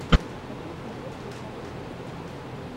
хочу смотреть сейчас ужасы